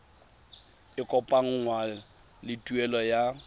e kopanngwang le tuelo ya